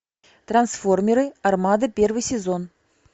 трансформеры армада первый сезон